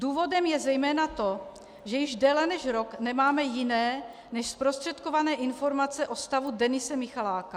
Důvodem je zejména to, že již déle než rok nemáme jiné než zprostředkované informace o stavu Denise Michaláka.